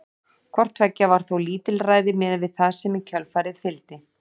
Hvort tveggja var þó lítilræði miðað við það sem í kjölfarið fylgdi.